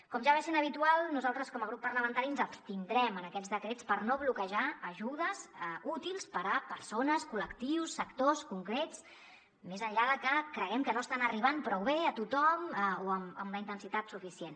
com ja va sent habitual nosaltres com a grup parlamentari ens abstindrem en aquests decrets per no bloquejar ajudes útils per a persones col·lectius sectors concrets més enllà de que creguem que no estan arribant prou bé a tothom o amb la intensitat suficient